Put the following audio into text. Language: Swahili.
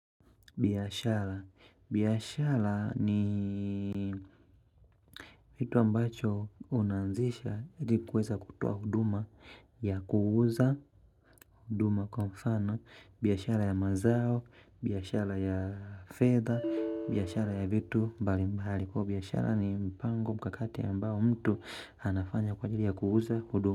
Biashara, biashara ni kitu ambacho unanzisha, iti kuweza kutoa huduma ya kuuza huduma kwa mfano, biashara ya mazao, biashara ya fedha, biashara ya vitu mbali mbali kwa biashara ni mpango mkakati ya ambao mtu anafanya kwa jili ya kuuza huduma.